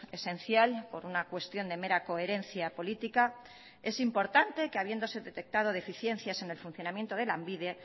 esencial por una cuestión de mera coherencia política es importante que habiéndose detectado deficiencias en el funcionamiento de lanbide